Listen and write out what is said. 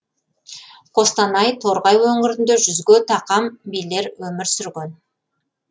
қостанай торғай өңірінде жүзге тақам билер өмір сүрген